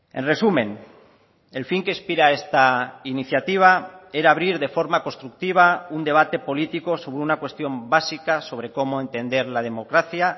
en resumen el fin que inspira esta iniciativa era abrir de forma constructiva un debate político sobre una cuestión básica sobre cómo entender la democracia